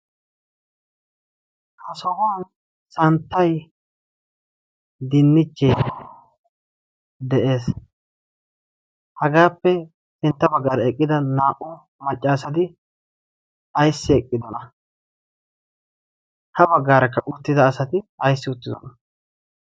ha sohuwan santtay dinnichchee de'ees hagaappe sintta baggaara eqqida naa''u maccaasatdi ayssi eqqidona ha baggaarakka uttida asati aisysi uttidona